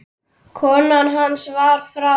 Kona hans var frá